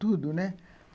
Tudo, né?